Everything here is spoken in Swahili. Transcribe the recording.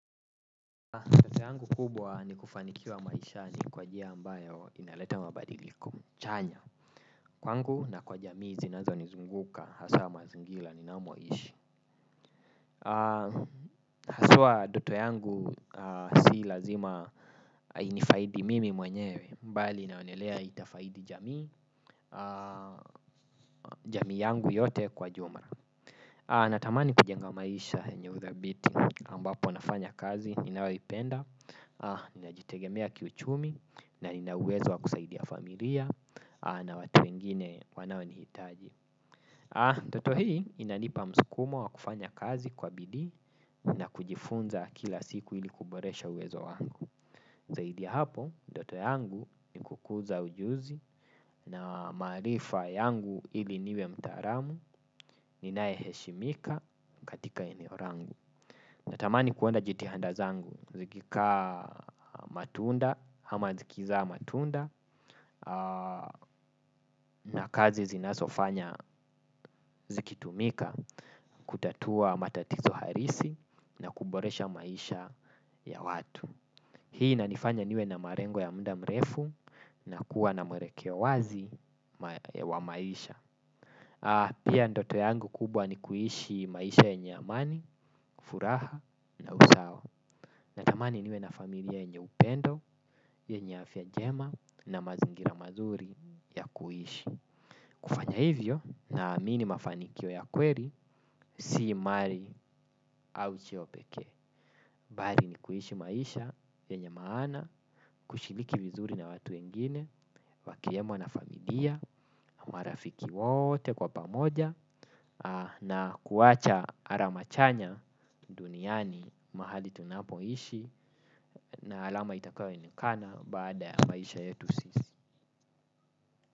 Yangu kubwa ni kufanikiwa maishani kwa njia ambayo inaleta mabadiliko chanya. Kwangu na kwa jamii zinazo nizunguka haswa mazingira ninamoishi. Aswa ndoto yangu si lazima inifaidi mimi mwenyewe, bali inaonelea itafaidi jamii, jamii yangu yote kwa jumla. Natamani kujenga maisha yenye udhabiti ambapo nafanya kazi ninaoipenda. Nina jitegemea kiuchumi na nina uwezo wa kusaidia familia na watu wengine wanao ni hitaji. Ndoto hii inanipa msukumo wa kufanya kazi kwa bidii na kujifunza kila siku ili kuboresha uwezo wangu. Zaidi ya hapo, ndoto yangu ni kukuza ujuzi na maarifa yangu ili niwe mtaalamu ninaye heshimika katika eneo langu. Natamani kuona jitihanda zangu zikikaa matunda ama zikizaa matunda na kazi zinazofanya zikitumika kutatua matatizo halisi na kuboresha maisha ya watu. Hii inanifanya niwe na malengo ya muda mrefu na kuwa na mwelekeo wazi wa maisha. Pia ndoto yangu kubwa ni kuishi maisha yenye amani, furaha na usawa. Natamani niwe na familia yenye upendo, yenye afya njema na mazingira mazuri ya kuishi. Kufanya hivyo, naamini mafanikio ya kweli si mali au cheo pekee. Bali ni kuishi maisha, yenye maana, kushiriki vizuri na watu wengine, wakiemo na familia, marafiki wote kwa pamoja na kuwacha alama chanya duniani mahali tunapoishi, na alama itakayoonekana baada ya maisha yetu sisi.